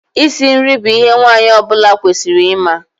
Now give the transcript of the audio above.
Isi nri bụ ihe nwaanyị ọbụla kwesịrị ịma.